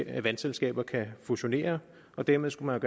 at vandselskaber kan fusionere dermed skulle man